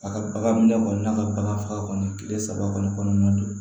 A ka bagan minɛ kɔni n'a ka bagan faga kɔni kile saba kɔni kɔnɔna na